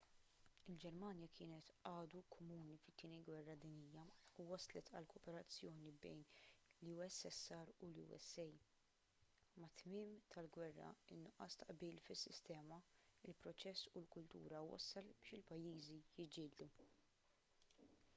il-ġermanja kienet għadu komuni fit-tieni gwerra dinjija u wasslet għal kooperazzjoni bejn il-ussr u l-usa mat-tmiem tal-gwerra in-nuqqas ta' qbil fis-sistema il-proċess u l-kultura wassal biex il-pajjiżi jiġġieldu